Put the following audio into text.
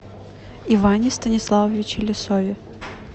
иване станиславовиче лисове